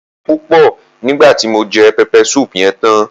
Mo mu omi púpò nígbàti mo je pepper soup yen tan